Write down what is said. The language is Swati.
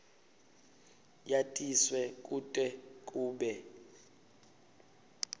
yatiswe kute kube